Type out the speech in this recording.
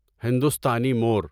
ہندوستانی مور